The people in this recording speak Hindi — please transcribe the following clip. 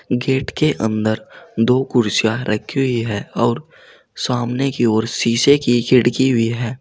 गेट के अंदर दो कुर्सियां रखी हुई हैं और सामने की ओर शीशे की खिड़की भी है।